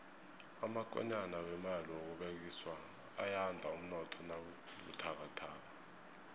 amakonyana wemali yokubolekiswa ayanda umnotho nawubuthakathaka